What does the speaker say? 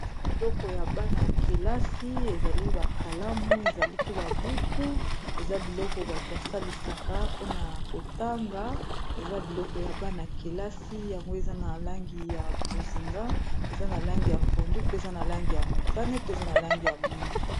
Biloko ya bana ya kelasi ezali ba kalamu ezali pe ba buku eza biloko bato basalisaka mpona kotanga eza biloko ya bana ya kelasi yango eza na langi ya bozinga eza na langi ya pondu mpe eza na langi ya motane pe eza na langi ya mwindu.